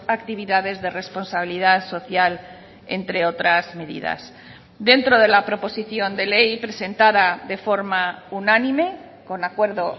actividades de responsabilidad social entre otras medidas dentro de la proposición de ley presentada de forma unánime con acuerdo